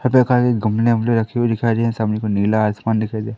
खाली गमले-वमले रखे दिखाई दे रहे हैं सामने कोई नीला आसमान दिखाई दे --